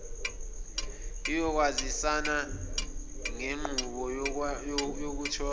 iyokwazisana ngenqubo yokutholwa